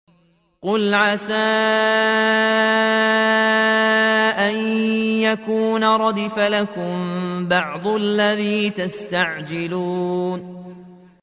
قُلْ عَسَىٰ أَن يَكُونَ رَدِفَ لَكُم بَعْضُ الَّذِي تَسْتَعْجِلُونَ